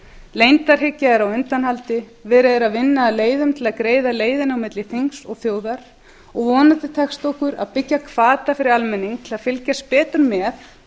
leyndarhyggja er á undanhaldi verið er að vinna að leiðum til að greiða leiðina á milli þings og þjóðar og vonandi tekst okkur að byggja hvata fyrir almenning til að fylgjast betur með